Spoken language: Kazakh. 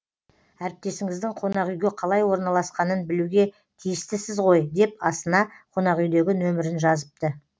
әріптесіңіздің қонақүйге қалай орналасқанын білуге тиістісіз ғой деп астына қонақүйдегі нөмірін жазыпты